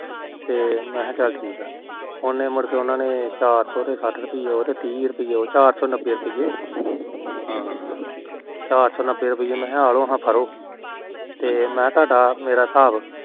ਮੈ ਚੱਲ ਠੀਕੇ ਮੁੜ ਕੇ ਉਹਨਾ ਨੇ ਚੋਰ ਸੋ ਤਿਹ ਤੇ ਸਾਠ ਰੁਪਏ ਉਹ ਚਾਰ ਸੋ ਨੱਭੇ ਰੁਪੀਏ ਮੈ ਆ ਲੋ ਫੜੋ ਤੇ ਮੈ ਕਿਹਾ ਸਾਡਾ ਮੇਰਾ ਹਿਸਾਬ